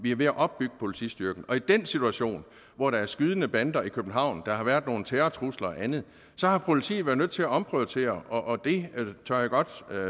vi er ved at opbygge politistyrken og i den situation hvor der er skydende bander i københavn der har været nogle terrortrusler og andet så har politiet været nødt til at omprioritere og det tør jeg godt